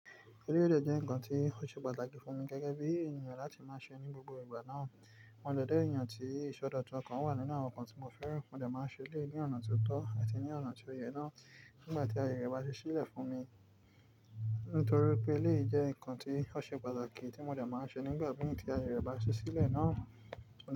Eléyìí dẹ́ nǹkan tí ó ṣe pàtàkì fún mi gẹ́gẹ́ bí ènìyàn láti máa ṣe ní gbogbo ìgbà náà. Mo jẹ dẹ ènìyàn tí ìṣọdọ̀tun ọkàn wà nínú àwọn nǹkan tí mo fẹ́ràn. Mo dẹ̀ máa ṣe eleyii ní ọ̀nà tó tọ́ àti ní ọ̀nà tó yẹ náà nígbà tí aye rẹ bá ṣe sílẹ̀ fún mi. Nítorí pé eléyìí jẹ́ nǹkan tí ó ṣe pàtàkì tí mo dẹ̀ máa ṣe nígbà mi tí aye rẹ bá ṣi sílẹ̀ náà.